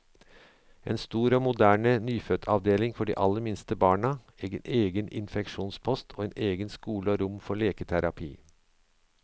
En stor og moderne nyfødtavdeling for de aller minste barna, en egen infeksjonspost, og egen skole og rom for leketerapi.